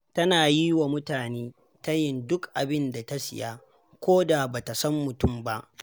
Tana yi wa mutane tayin duk abin da ta siya, ko da ba ta san mutum ba.